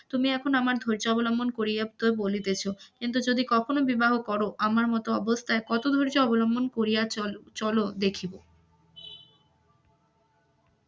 তুমি এখন আমার ধৈর্য অবলম্বন করিয়া কথা বলিয়াছ, কিন্তু যদি কখন বিবাহ কর আমার মত অবস্থায় কত ধৈর্য অবলম্বন করিয়া চল, চল দেখিব.